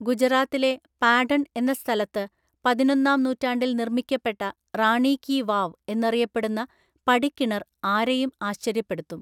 ഗുജറാത്തിലെ പാഢണ്‍ എന്ന സ്ഥലത്ത് പതിനൊന്നാം നൂറ്റാണ്ടില്‍ നിര്‍മ്മിക്കപ്പെട്ട റാണീ കീ വാവ് എന്നറിയപ്പെടുന്ന പടിക്കിണര്‍ ആരെയും ആശ്ചര്യപ്പെടുത്തും.